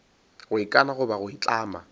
go ikana goba go itlama